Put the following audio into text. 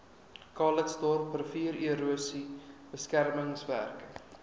calitzdorp riviererosie beskermingswerke